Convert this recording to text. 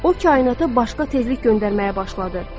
O kainatı başqa tezlik göndərməyə başladı.